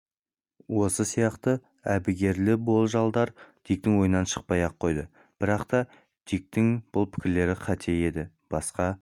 осы сияқты әбігерлі болжалдар диктің ойынан шықпай-ақ қойды бірақ та диктің бұл пікірі қате еді басқа